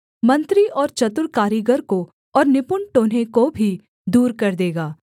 मंत्री और चतुर कारीगर को और निपुण टोन्हे को भी दूर कर देगा